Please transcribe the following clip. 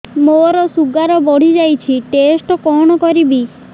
ମୋର ଶୁଗାର ବଢିଯାଇଛି ଟେଷ୍ଟ କଣ କରିବି